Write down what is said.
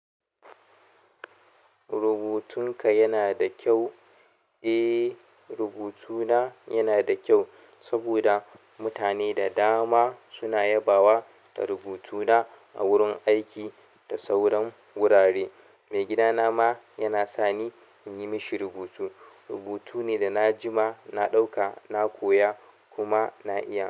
Rubutunka yana da kyau? Eh, rubutuna yana da kyau saboda mutane da dama suna yabawa da rubutuna a wurin aiki da sauran wurare. Maigidana ma yana sani in yi mashi rubutu. Rubutu ne da na jima na ɗauka, na koya kuma na iya.